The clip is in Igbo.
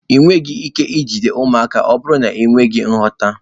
Ị nweghị ike ijide ụmụaka ma ọ bụrụ na ị nweghị nghọta